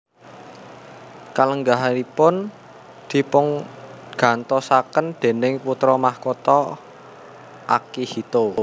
Kalenggahanipun dipungantosaken déning Putra Makutha Akihito